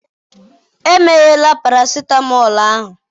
emeghela paracetamol ahụ!